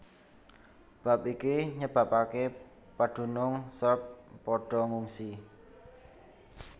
Bab iki nyebabaké padunung Serb padha ngungsi